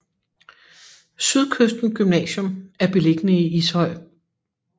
Sydkysten Gymnasium er beliggende i Ishøj